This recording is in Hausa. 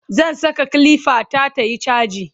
zan Saka kilifa ta tayi chaji